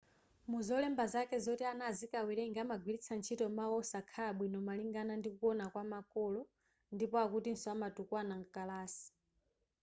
muzolemba zake zoti ana azikawerenga amagwiritsa ntchito mawu wosakhala bwino malingana ndikuwona kwa makolo ndipo akutiso amatukwana mkalasi